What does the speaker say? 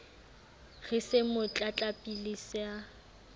re se mo tlatlapile se